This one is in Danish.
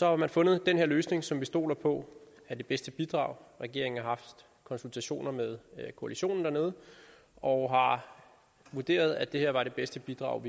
har man fundet den her løsning som vi stoler på er det bedste bidrag regeringen har haft konsultationer med koalitionen dernede og har vurderet at det her var det bedste bidrag